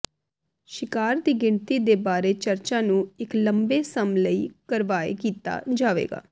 ਸ਼ਿਕਾਰ ਦੀ ਗਿਣਤੀ ਦੇ ਬਾਰੇ ਚਰਚਾ ਨੂੰ ਇੱਕ ਲੰਬੇ ਸਮ ਲਈ ਕਰਵਾਏ ਕੀਤਾ ਜਾਵੇਗਾ